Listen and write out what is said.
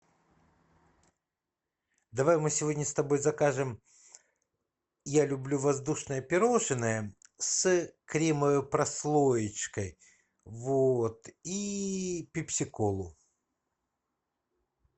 давай мы сегодня с тобой закажем я люблю воздушное пирожное с кремовой прослоечкой вот и пепси колу